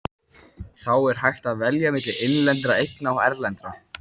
Þá er hægt að velja milli innlendra eigna og erlendra.